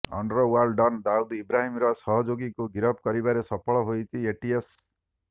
underworld don Dawood ଇବ୍ରାହିମର ସହଯୋଗୀକୁ ଗିରଫ କରିବାରେ ସଫଳ ହୋଇଛି ଏଟିଏସ୍